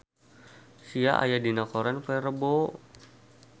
Sia aya dina koran poe Rebo